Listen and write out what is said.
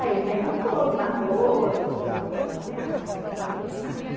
Aí ele perguntou do namoro falei ah, vou pensar.